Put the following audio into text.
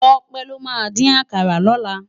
Tope ló má din àkàrá lòlá